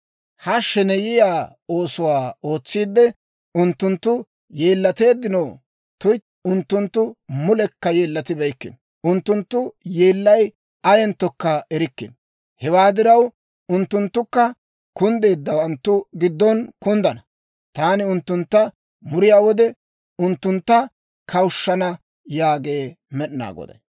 Ha sheneyiyaa oosuwaa ootsiide, unttunttu yeellateeddinoo? Tuytti, unttunttu mulekka yeellatibeykkino. Unttunttu yeellay ayenttokka erikkino. Hewaa diraw, unttunttukka kunddeeddawanttu giddon kunddana. Taani unttuntta muriyaa wode, unttuntta kawushshana» yaagee Med'inaa Goday.